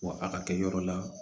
Wa a ka kɛ yɔrɔ la